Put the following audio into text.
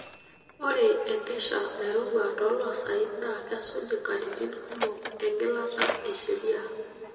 Ore enkesha nairowua toloosaen naa kesuj nkatitin kumok engilata e sheria.